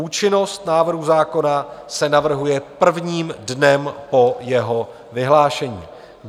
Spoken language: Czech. Účinnost návrhu zákona se navrhuje prvním dnem po jeho vyhlášení.